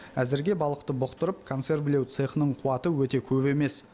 әзірге балықты бұқтырып консервілеу цехының қуаты өте көп емес